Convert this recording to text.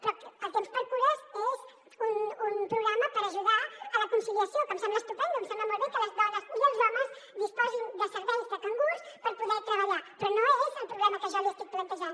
però el tempsxcures és un programa per ajudar en la conciliació que em sembla estupend em sembla molt bé que les dones i els homes disposin de serveis de cangurs per poder treballar però no és el problema que jo li estic plantejant